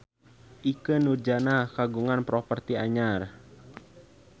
Ikke Nurjanah kagungan properti anyar